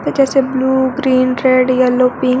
जैसे blue green red yellow pink --